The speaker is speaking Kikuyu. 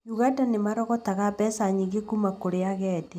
Ũganda nĩ ũrogotaga mbeca nyingĩ kuma kũrĩ agendi